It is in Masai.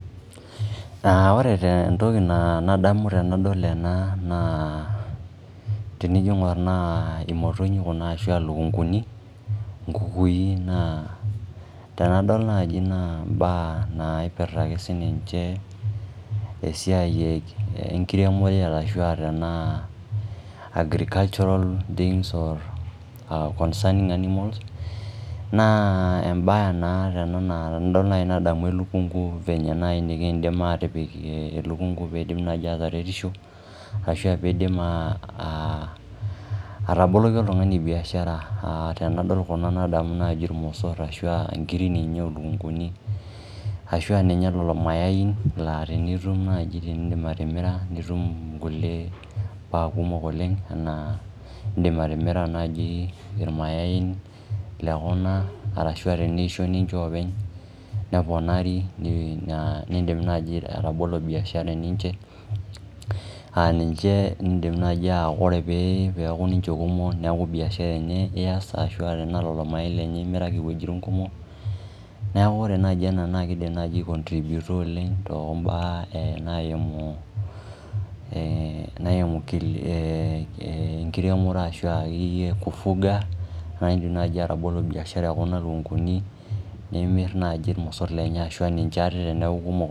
Aa ore entoki nadamu tenadol ena naa tenijo aingor naa imotonyi kuna arashu ilukunguni , inkukui naa tenadol naji naa imbaa naipirta ake sininche , esiai enkiremore ,ashu aa tenaa agricultural things or concerning animals. Naa embae naa ena naa tenadol naji nadamu elukungu venye naji nikindim atipik elukungu pidim naji ataretisho ashu pidim aa ataboloki oltungani biashara. Tenadol kuna nadamu naji irmosor ashuaa inkiri ninye olukunguni ashuaa ninye lelo mayai laa tenitum ninye nidim atimira , nitum nkulie baa kumok oleng, anaa indim atimira naji irmayain lekuna arashu teneisho ninche openy neponari , nindim naji atabolo biashara eninche , aa indim naji aa kore pee eaku ninche kumok , neaku biashara enye ias ashu tenaa lelo mayai imiraki iwuejitin kumok . Niaku ore naji ena naa kidim naji aikontributa oleng too mbaa naimu , naimu ee enkiremore ashu akeyieyie kufuga naji indim naji atabolo biashara ekuna lukunguni nimir imosor lenye ashu ninche teniaku kumok.